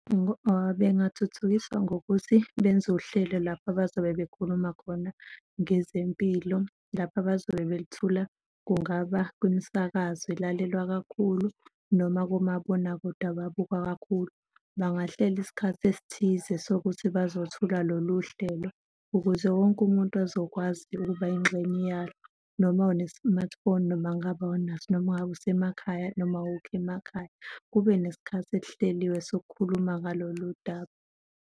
Bengathuthukiswa ngokuthi benze uhlelo lapho abazobe bekhuluma khona ngezempilo, lapho abazobe belithula, kungaba kwimisakazo elalelwa kakhulu noma komabonakude ababukwa kakhulu. Bangahlela isikhathi esithize sokuthi bazothula lolu hlelo ukuze wonke umuntu azokwazi ukuba yingxenye yalo, noma une-smartphone noma kungabe awunaso, noma ngabe usemakhaya, noma awukho emakhaya. Kube nesikhathi esihleliwe sokukhuluma ngaloludaba.